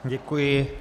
Děkuji.